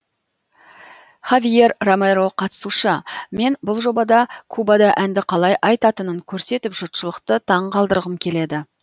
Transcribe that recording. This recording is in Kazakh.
хавьер ромеро қатысушы мен бұл жобада кубада әнді қалай айтатынын көрсетіп жұртшылықты таңғалдырғым келеді